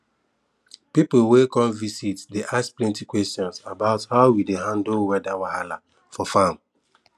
pipu wey come visit dey ask plenty questions about how we dey handle weather wahala for farm